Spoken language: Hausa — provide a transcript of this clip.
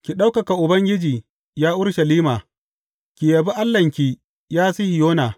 Ki ɗaukaka Ubangiji, ya Urushalima; ki yabi Allahnki, ya Sihiyona.